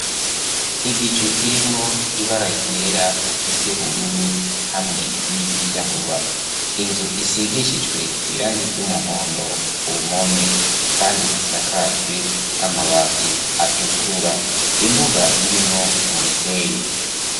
Igicu kirimwo ibara ryera iryubururu hamwe n'iryirabura inzu isigishijwe irangi ry'umuhondo ku mpome kandi isakajwe amabati atukura imbuga irimwo umusenyi.